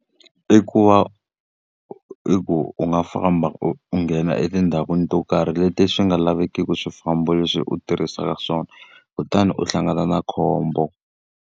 I ku va i ku u nga famba u u nghena etindhawini to karhi leti swi nga lavekiki swifambo leswi u tirhisaka swona, kutani u hlangana na khombo.